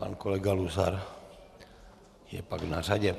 Pan Kolega Luzar je pak na řadě.